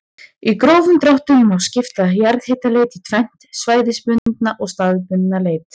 Í grófum dráttum má skipta jarðhitaleit í tvennt, svæðisbundna og staðbundna leit.